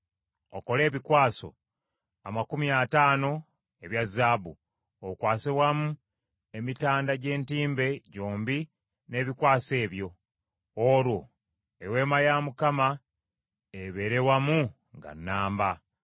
Okole ebikwaso amakumi ataano ebya zaabu, okwase wamu emitanda gy’entimbe gyombi n’ebikwaso ebyo, olwo Eweema ya Mukama ebeere wamu nga nnamba.